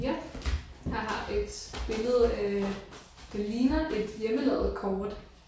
Ja. Jeg har et billede øh der ligner et hjemmelavet kort